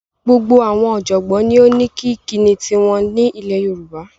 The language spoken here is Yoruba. Gbogbo awon ojogbon ni o ni ikini tiwon ni ile Yoruba